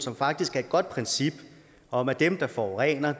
som faktisk er et godt princip om at dem der forurener